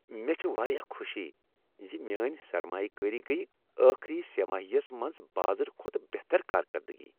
مےٚ چھےٚ واریاہ خوشی ز میٲنۍ سرمایہ کٲری گٔیۍ ٲخری سہ ماہی یس منٛز بازرٕ کھۄتہٕ بہتر کارکردگی۔